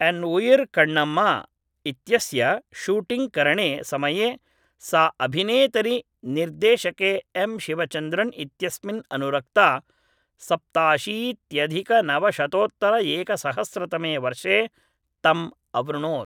N Uyir Kannamma इत्यस्य शूटिङ्ग्करणे समये सा अभिनेतरि निर्देशके एम् शिवचन्द्रन् इत्यस्मिन् अनुरक्ता सप्ताशीत्यधिकनवशतोत्तरएकसहस्रतमे वर्षे तम् अवृणोत्